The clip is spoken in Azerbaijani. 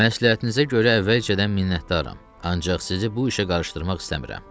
Məsləhətinizə görə əvvəlcədən minnətdaram, ancaq sizi bu işə qarışdırmaq istəmirəm.